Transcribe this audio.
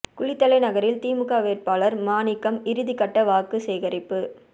குளித்தலை நகரில் திமுக வேட்பாளர் மாணிக்கம் இறுதி கட்ட வாக்கு சேகரிப்பு